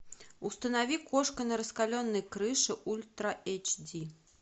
установи кошка на раскаленной крыше ультра айч ди